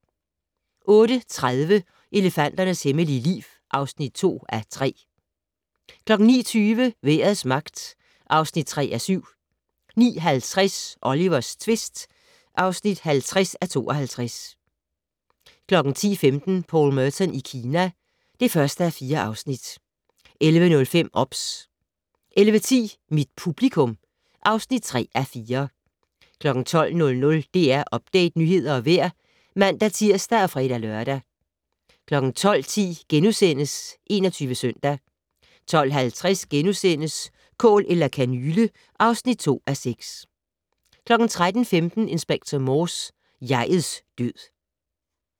08:30: Elefanternes hemmelige liv (2:3) 09:20: Vejrets magt (3:7) 09:50: Olivers tvist (50:52) 10:15: Paul Merton i Kina (1:4) 11:05: OBS 11:10: Mit publikum (3:4) 12:00: DR Update - nyheder og vejr (man-tir og fre-lør) 12:10: 21 Søndag * 12:50: Kål eller kanyle (2:6) 13:15: Inspector Morse: Jeg'ets død